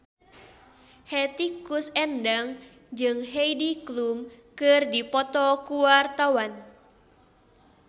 Hetty Koes Endang jeung Heidi Klum keur dipoto ku wartawan